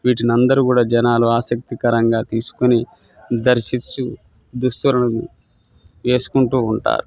వీటిని అందరు కూడా జనాలు ఆశక్తికరంగా తెసుకొని ధర్షిస్తు ధుసువులు వేసుకుంటూ ఉంటారు.